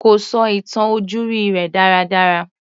Kò sọ ìtàn ojúrí rẹ̀ dára dára.